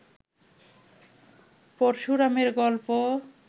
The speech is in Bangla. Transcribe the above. পরশুরামের গল্প